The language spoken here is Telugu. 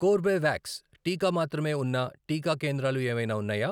కోర్బేవాక్స్ టీకా మాత్రమే ఉన్న టీకా కేంద్రాలు ఏవైనా ఉన్నాయా?